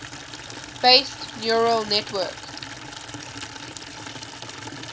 based neural network